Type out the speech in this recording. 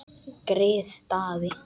Grið Daði!